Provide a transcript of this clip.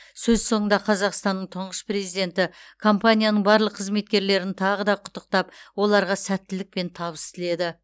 сөз соңында қазақстанның тұңғыш президенті компанияның барлық қызметкерлерін тағы да құттықтап оларға сәттілік пен табыс тіледі